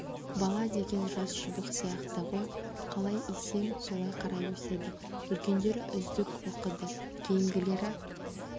бала деген жас шыбық сияқты ғой қалай исең солай қарай өседі үлкендері үздік оқыды кейінгілері